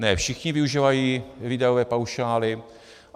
Ne všichni využívají výdajové paušály.